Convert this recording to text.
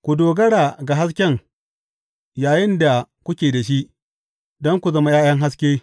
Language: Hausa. Ku dogara ga hasken yayinda kuke da shi, don ku zama ’ya’yan haske.